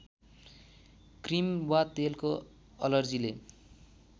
cream वा तेलको अलर्जीले